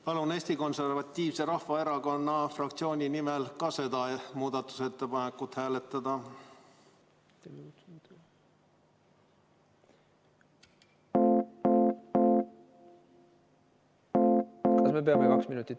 Palun Eesti Konservatiivse Rahvaerakonna fraktsiooni nimel ka seda muudatusettepanekut hääletada!